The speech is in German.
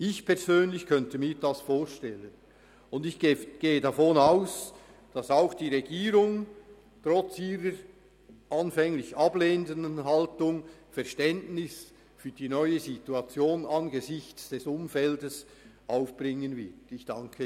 Ich persönlich könnte mir das vorstellen, und ich gehe davon aus, dass auch die Regierung angesichts dieses Umfeldes trotz ihrer anfänglich ablehnenden Haltung Verständnis für die neue Situation aufbringen wird.